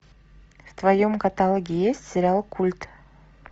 в твоем каталоге есть сериал культ